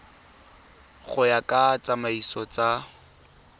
go ya ka ditsamaiso tsa